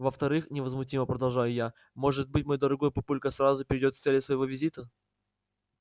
во-вторых невозмутимо продолжаю я может быть мой дорогой папулька сразу перейдёт к цели своего визита